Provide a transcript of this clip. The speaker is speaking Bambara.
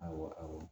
Awɔ awɔ